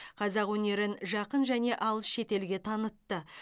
қазақ өнерін жақын және алыс шетелге танытты